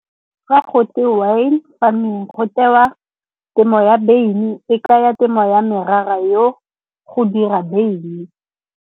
Fa go twe wine farming, go tewa temo ya beine, e kaya temo ya morara yo go dira beine.